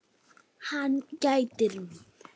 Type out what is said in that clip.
Hann gætir mín.